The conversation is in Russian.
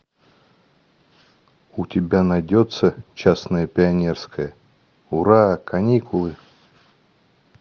у тебя найдется честное пионерское ура каникулы